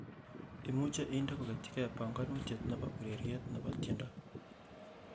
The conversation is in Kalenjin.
imuje indee kogetyigen panganutiet nebo ureryet nebo tienwogik